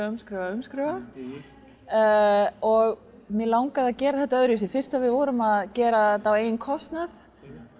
umskrifa umskrifa og mig langaði að gera þetta öðruvísi fyrst við vorum að gera þetta á eigin kostnað